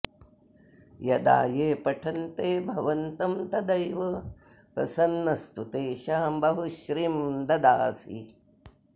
यदा ये पठन्ते भवन्तं तदैव प्रसन्नस्तु तेषां बहुश्रीं ददासि